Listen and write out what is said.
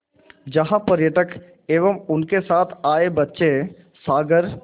जहाँ पर्यटक एवं उनके साथ आए बच्चे सागर